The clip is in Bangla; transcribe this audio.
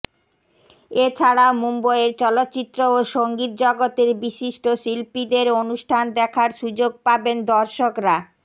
এছাড়াও মুম্বইয়ের চলচ্চিত্র ও সঙ্গীত জগতের বিশিষ্ট শিল্পীদের অনুষ্ঠান দেখার সুযোগ পাবেন দর্শকরা